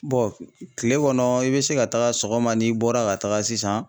kile kɔnɔ i bɛ se ka taga sɔgɔma n'i bɔra ka taga sisan.